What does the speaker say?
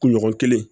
Kunɲɔgɔn kelen